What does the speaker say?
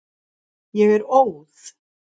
Ég er óð.